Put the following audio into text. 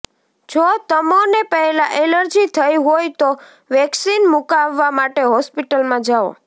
જો તમોને પહેલાં એલર્જી થઈ હોય તો વેક્સિન મુકાવવા માટે હોસ્પિટલમાં જાઓ